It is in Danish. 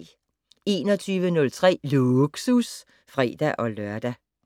21:03: Lågsus (fre-lør)